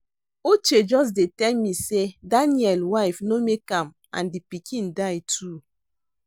Uche just dey tell me say Daniel wife no make am and the pikin die too